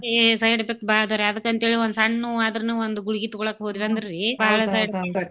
ಏ side effect ಬಾಳದಾವ್ರೀ ಅದ್ಕಂತೇಳಿ ಒಂದ್ ಸಣ್ಣ್ ನೋವಾದ್ರುನು ಒಂದ್ ಗುಳ್ಗಿ ತಗೋಳಕ ಹೋದ್ವಂದ್ರೀ .